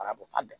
A bɔ fa